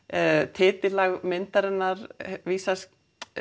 titillag myndarinnar vísar